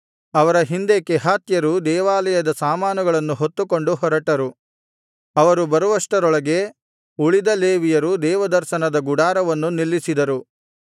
ಅವರ ಹಿಂದೆ ಕೆಹಾತ್ಯರು ದೇವಾಲಯದ ಸಾಮಾನುಗಳನ್ನು ಹೊತ್ತುಕೊಂಡು ಹೊರಟರು ಅವರು ಬರುವಷ್ಟರೊಳಗೆ ಉಳಿದ ಲೇವಿಯರು ದೇವದರ್ಶನದ ಗುಡಾರವನ್ನು ನಿಲ್ಲಿಸಿದರು